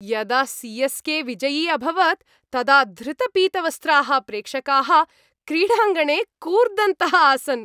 यदा सि.एस्.के. विजयी अभवत् तदा धृतपीतवस्त्राः प्रेक्षकाः क्रीडाङ्गणे कूर्दन्तः आसन्।